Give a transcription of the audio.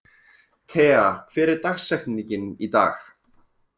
Tea, hver er dagsetningin í dag?